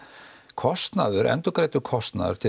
kostnaður endurgreiddur kostnaður til